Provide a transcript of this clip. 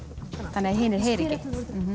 þannig að hinir heyri ekki